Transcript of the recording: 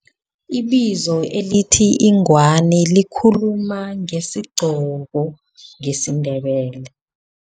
Ibizo elithi ingwani likhuluma ngesigqoko ngesiNdebele.